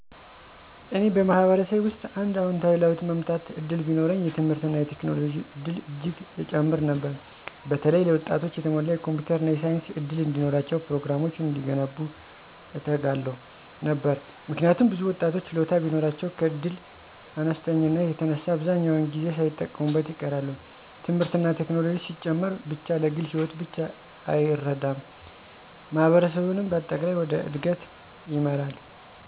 እኔ በማህበረሰቤ ውስጥ አንድ አዎንታዊ ለውጥ ማመጣት እድል ቢኖረኝ፣ የትምህርትና የቴክኖሎጂ እድል እጅግ እጨምር ነበር። በተለይ ለወጣቶች የተሟላ የኮምፒውተር እና የሳይንስ እድል እንዲኖራቸው፤ ፕሮግራሞች እንዲገነቡ እተጋለሁ ነበር። ምክንያቱም ብዙ ወጣቶች ችሎታ ቢኖራቸውም ከእድል አነስተኛነት የተነሳ አብዛኛውን ጊዜ ሳይጠቀሙበት ይቀራሉ። ትምህርትና ቴክኖሎጂ ሲጨምር ብቻ ለግል ሕይወት ብቻ አይረዳም፣ ማህበረሰቡንም በአጠቃላይ ወደ እድገት ይመራል።